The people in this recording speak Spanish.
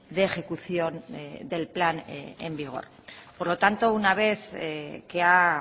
de ejecución del plan en vigor por lo tanto una vez que ha